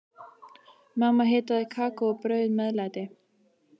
Mamma hitaði kakó og bauð meðlæti.